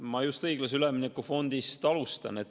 Ma just õiglase ülemineku fondist alustan.